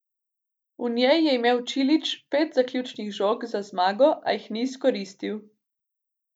V njej je imel Čilić pet zaključnih žog za zmago, a jih ni izkoristil.